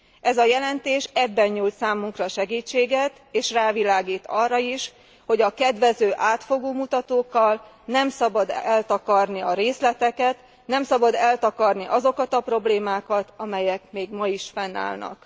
Ez a jelentés ebben nyújt számunkra segítséget, és rávilágít arra is, hogy a kedvező átfogó mutatókkal nem szabad eltakarni a részleteket, nem szabad eltakarni azokat a problémákat, amelyek még ma is fennállnak.